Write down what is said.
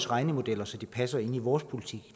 regnemodeller så det passer ind i vores politik